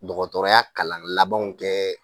Dɔgɔtɔrɔya kalan labanw kɛ